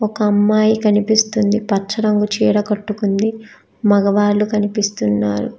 ఒక అమ్మాయి కనిపిస్తుంది పచ్చ రంగు చీర కట్టుకుంది. మగవాళ్ళు కనిపిస్తున్నారు.